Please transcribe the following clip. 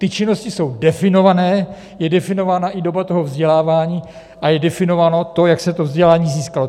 Ty činnosti jsou definované, je definována i doba toho vzdělávání a je definováno to, jak se to vzdělání získalo.